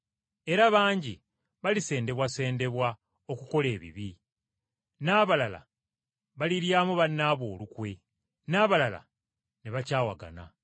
Era bangi balisendebwasendebwa okukola ebibi, n’abalala baliryamu bannaabwe olukwe, n’abalala ne bakyawagana.